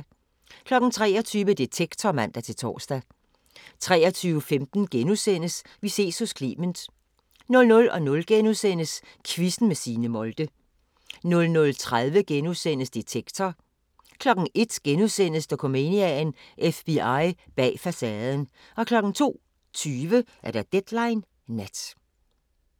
23:00: Detektor (man-tor) 23:15: Vi ses hos Clement * 00:00: Quizzen med Signe Molde * 00:30: Detektor * 01:00: Dokumania: FBI bag facaden * 02:20: Deadline Nat